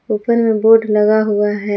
ऊपर में बोर्ड लगा हुआ है।